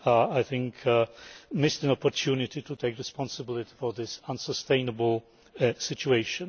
I think you missed an opportunity to take responsibility for this unsustainable situation.